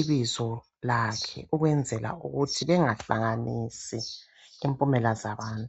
ibizo lakhe ukwenzela ukuthi bengahlanganisi impumela zabantu.